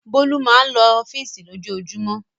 Bólú máa ń lọ ọ́fíísì lójoojúmọ́.